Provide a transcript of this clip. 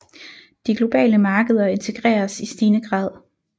De globale markeder integreres i stigende grad